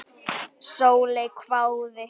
Sóley hváði.